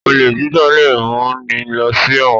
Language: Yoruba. Olè jíjà lẹ mú ní ló sí èwòn